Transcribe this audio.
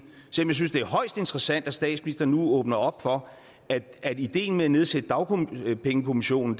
synes det er højst interessant at statsministeren nu åbner op for at ideen med at nedsætte dagpengekommissionen